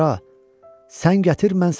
sən gətir mən satım.